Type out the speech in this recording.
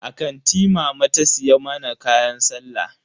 A kanti mama ta siya mana kayan sallah.